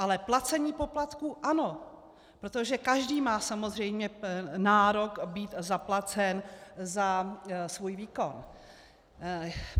Ale placení poplatků ano, protože každý má samozřejmě nárok být zaplacen za svůj výkon.